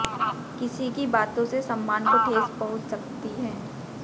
किसी की बातों से सम्मान को ठेस पहुंच सकती है